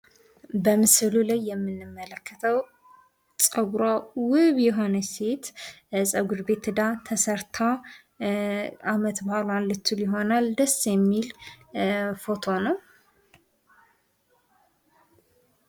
በምስሉ ላይ የምንመልከተው ጸጉሯ ውብ የሆነች ሴት ጸጉሯን ተሰርታ አመት ባሏን ልትውል ሊሆን ይችላል። ደስ የሚል..